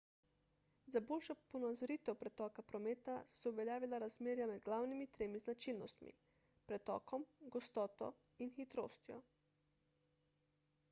za boljšo ponazoritev pretoka prometa so se uveljavila razmerja med glavnimi tremi značilnostmi: 1 pretokom 2 gostoto in 3 hitrostjo